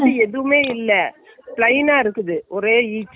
எதுவுமே இல்லை, plain ஆ இருக்குது ஒரே each ஆ.